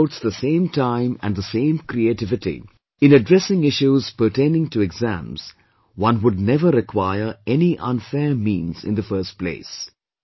If one devotes the same time and the same creativity in addressing issues pertaining to exams, one would never require any unfair means in the first place